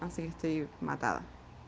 аа